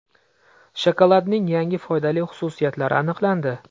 Shokoladning yangi foydali xususiyatlari aniqlandi.